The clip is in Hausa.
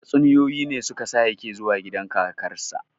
Tatsuniyoyi ne su ka sa ya ke zuwa gidan kakarsa